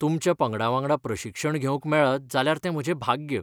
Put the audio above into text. तुमच्या पंगडावांगडा प्रशिक्षण घेवंक मेळत जाल्यार तें म्हजें भाग्य.